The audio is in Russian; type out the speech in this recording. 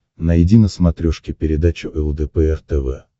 найди на смотрешке передачу лдпр тв